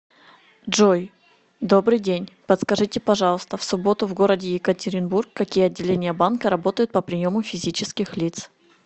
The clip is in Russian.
джой добрый день подскажите пожалуйста в субботу в городе екатеринбург какие отделение банка работают по приему физических лиц